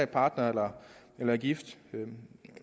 partnere eller er gift